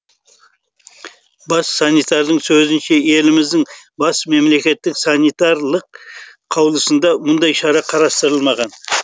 бас санитардың сөзінше еліміздің бас мемлекеттік санитарлық қаулысында мұндай шара қарастырылмаған